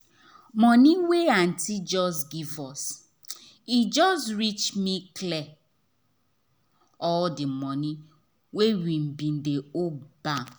money wey aunty just give us e just reach me clear all the money wey we bin dey owe bak